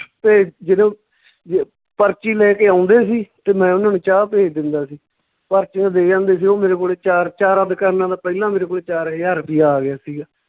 ਤੇ ਜਦੋਂ ਜ ਪਰਚੀ ਲੈ ਕੇ ਆਉਂਦੇ ਸੀ ਤੇ ਮੈਂ ਓਨਾਂ ਨੂੰ ਚਾਹ ਭੇਜ ਦਿੰਦਾ ਸੀ, ਪਰਚੀਆਂ ਦੇ ਜਾਂਦੇ ਸੀ ਓਹ ਮੇਰੇ ਕੋਲੇ ਚਾਰ ਚਾਰਾਂ ਦੁਕਾਨਾਂ ਦਾ ਪਹਿਲਾਂ ਮੇਰੇ ਕੋਲੇ ਚਾਰ ਹਜਾਰ ਰੁਪਈਆ ਆ ਗਿਆ ਸੀਗਾ।